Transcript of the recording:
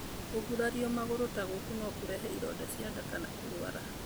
Kũgurario magũrũ ta gũkũ no kũrehe ironda cia nda na kũrũara.